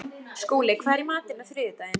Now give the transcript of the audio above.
Skúli, hvað er í matinn á þriðjudaginn?